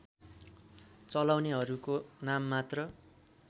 चलाउनेहरूको नाममात्र